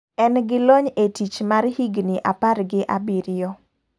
En gi lony e tich mar higni apar gi abiriyo.